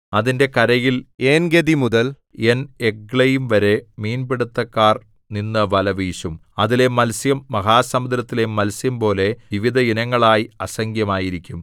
അതിന്റെ കരയിൽ ഏൻഗെദി മുതൽ ഏൻഎഗ്ലയീംവരെ മീൻപിടിത്തക്കാർ നിന്നു വല വീശും അതിലെ മത്സ്യം മഹാസമുദ്രത്തിലെ മത്സ്യംപോലെ വിവിധ ഇനങ്ങളായി അസംഖ്യമായിരിക്കും